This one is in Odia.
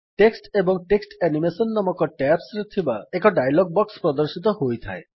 ଟେକ୍ସଟ ଏବଂ ଟେକ୍ସଟ ଆନିମେସନ ନାମକ ଟ୍ୟାବ୍ସ ଥିବା ଏକ ଡାୟଲଗ୍ ବକ୍ସ୍ ପ୍ରଦର୍ଶିତ ହୋଇଥାଏ